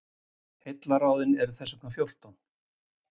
Heillaráðin eru þess vegna fjórtán.